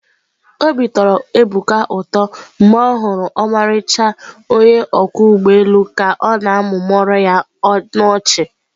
Obi tọrọ Ebuka ụtọ mgbe ọ hụrụ ọmarịcha onye ọkwọ ụgbọ elu ka ọ na-amụmụọrọ ya ọnụ ọchị.